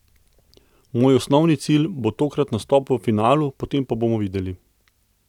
Moj osnovni cilj bo tokrat nastop v finalu, potem pa bomo videli.